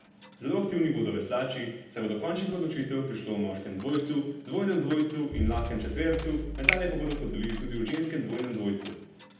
Zelo aktivni bodo veslači, saj bo do končnih odločitev prišlo v moškem dvojcu, dvojnem dvojcu in lahkem četvercu, medalje pa bodo podelili tudi v ženskem dvojnem dvojcu.